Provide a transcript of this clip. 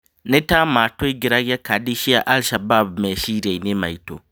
"Nĩ ta matũingĩragia kadi cia Al Shabab meciriainĩ maitũ."